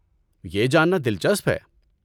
یہ جاننا دلچسپ ہے۔